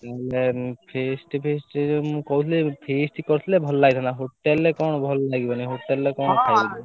Feast feast ମୁଁ କହୁଥିଲି feast କରିଥିଲି ଭଲ ଲାଗିଥାନ୍ତା ହୋଟେଲରେ କଣ ଭଲ ଲାଗିବନି ହୋଟେଲରେ କଣ ଖାଇବା?